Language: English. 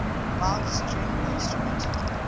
bowed string instrument